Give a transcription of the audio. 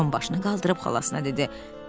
Tom başını qaldırıb xalasına dedi.